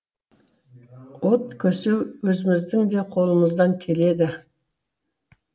от көсеу өзіміздің де қолымыздан келеді